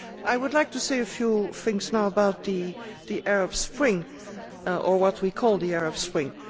I would like to say a few things now about the Arab Spring, or what we call the Arab Spring.